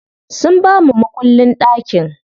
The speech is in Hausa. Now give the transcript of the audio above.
Sun bamu makullin ɗakin.